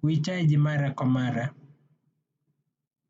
Kuhitaiji mara kwa mara.